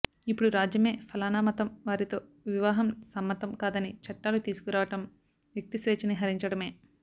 ఇపుడు రాజ్యమే ఫలానా మతం వారితో వివాహం సమ్మతం కాదని చట్టాలు తీసుకురావడం వ్యక్తిస్వేచ్ఛని హరించడమే